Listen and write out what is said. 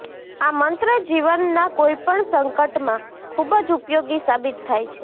આ મંત્ર જીવનનાં કોઈપણ સંકટમાં ખૂબ જ ઉપયોગી સાબિત થાય છે